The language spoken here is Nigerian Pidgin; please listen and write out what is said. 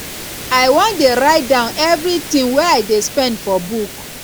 i wan dey write down everything i dey spend for book